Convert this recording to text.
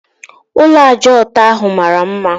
Ụlọ ájá ọtọ ahụ mara mma